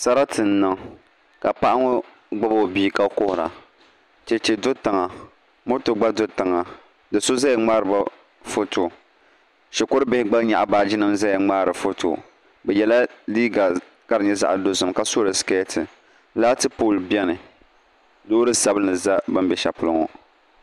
Sarati n niŋ ka paɣa ŋo gbubi o bia ka kuhura chɛchɛ do tiŋa moto gba do tiŋa ni so ʒɛya ŋmaariba foto shikuru bihi gba nyaɣa baaji nim ʒɛya ŋmaari foto bi yɛla liiga ka di nyɛ zaɣ dozim ka so di skɛti laati pool bɛ bi sani loori sabinli bɛ bi ni bɛ shɛli polo ŋo